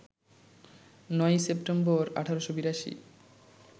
৯ই September, ১৮৮২